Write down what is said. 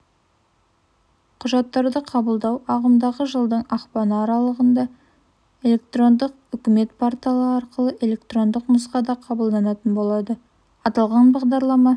құжаттарды қабылдау ағымдағы жылдың ақпаны аралығында электрондық үкімет порталы арқылы электрондық нұсқада қабылданатын болады аталған бағдарлама